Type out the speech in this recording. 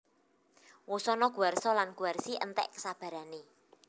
Wusana Guwarsa lan Guwarsi enték kesabarané